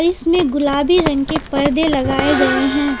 इसमें गुलाबी रंग के पर्दे लगाए गए हैं।